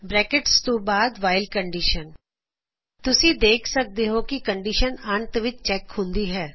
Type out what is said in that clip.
bracket ਤੋ ਬਾਦ while condition ਦੇਖ ਸਕਦੇ ਹੋ ਕੀ ਕੰਡੀਸ਼ਨ ਅੰਤ ਵਿੱਚ ਚੈੱਕ ਹੁੰਦੀ ਹੈ